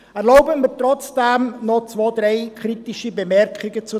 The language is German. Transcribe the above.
Erlauben Sie mir trotzdem noch zwei, drei kritische Bemerkungen dazu.